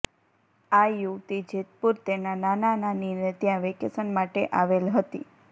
આ યુવતી જેતપુર તેના નાના નાની ને ત્યાં વેકેશન માંટે આવેલ હતી